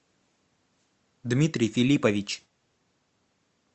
дмитрий филиппович